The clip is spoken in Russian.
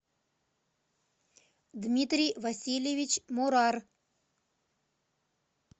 дмитрий васильевич мурар